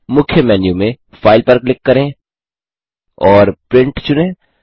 मुख्य मेन्यू में फाइल पर क्लिक करें और प्रिंट चुनें